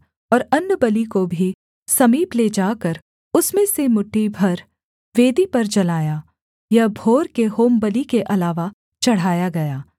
और अन्नबलि को भी समीप ले जाकर उसमें से मुट्ठी भर वेदी पर जलाया यह भोर के होमबलि के अलावा चढ़ाया गया